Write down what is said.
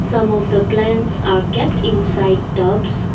Some of the plants are kept inside tubs.